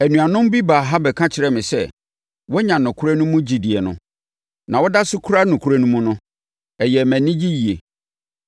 Anuanom bi baa ha bɛka kyerɛɛ me sɛ, woanya nokorɛ no mu gyidie no, na woda so kura nokorɛ no mu no, ɛyɛɛ me anigye yie.